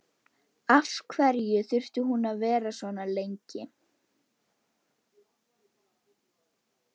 Af hverju þurfti hún að vera svona lengi?